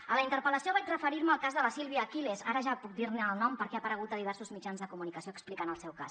a la interpel·lació vaig referirme al cas de la sílvia aquiles ara ja puc dirne el nom perquè ha aparegut a diversos mitjans de comunicació explicant el seu cas